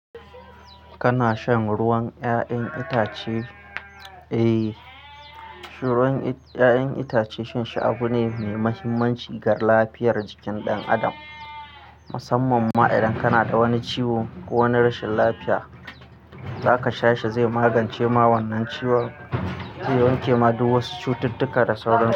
Kana shan ruwan 'ya'yan itace? Eh, shiruwan i 'ya'yan itace shan shi abu ne mai mahimmanci ga lafiyar jikin ɗan adam musamman ma idan kana da wani ciwo ko wani rashin lafiya, zaka sha shi zai magance ma wannan ciwon, zai wanke ma duk wasu cututtuka da sauransu.